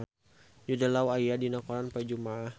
Jude Law aya dina koran poe Jumaah